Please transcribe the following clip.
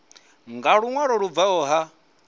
nga luṅwalo lu bvaho kha